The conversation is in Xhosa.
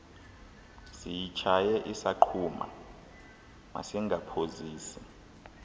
siyitshaye isaqhuma masingaphozisi